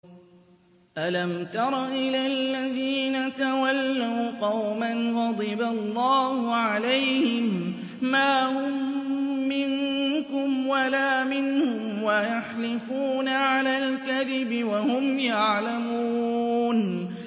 ۞ أَلَمْ تَرَ إِلَى الَّذِينَ تَوَلَّوْا قَوْمًا غَضِبَ اللَّهُ عَلَيْهِم مَّا هُم مِّنكُمْ وَلَا مِنْهُمْ وَيَحْلِفُونَ عَلَى الْكَذِبِ وَهُمْ يَعْلَمُونَ